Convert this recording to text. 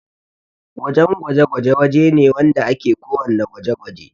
wajan gwaje-gwaje waje ne wanda ake ko wanna gwaji